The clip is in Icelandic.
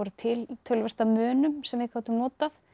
til töluvert af munum sem við gátum notað